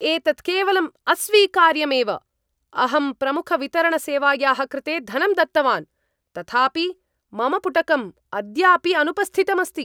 एतत् केवलं अस्वीकार्यम् एव अहं प्रमुखवितरणसेवायाः कृते धनं दत्तवान् तथापि मम पुटकम् अद्यापि अनुपस्थितम् अस्ति!